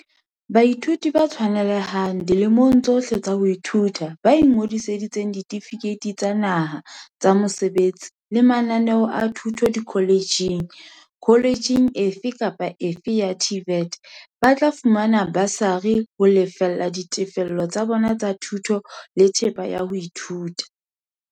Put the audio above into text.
Baithuti ba tshwanelehang, dilemong tsohle tsa ho ithuta, ba ingodiseditseng ditefikeiti tsa naha, tsa mesebetsi, le mananeo a thuto dikhole tjheng - kholetjheng efe kapa efe ya TVET - ba tla fumana basari ho lefella ditefello tsa bona tsa thuto le thepa ya ho ithuta.